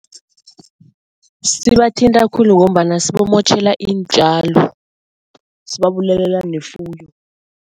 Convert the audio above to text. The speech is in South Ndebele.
Sibathinta khulu ngombana sibamotjhela iintjalo, sibabulalela nefuyo.